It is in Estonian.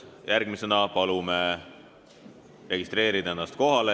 Järgmisena palume registreerida ennast kohalolijaks.